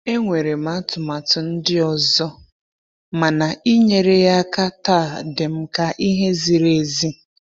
Enwere m atụmatụ ndị ọzọ, mana inyere ya aka taa dịm ka ihe ziri ezi.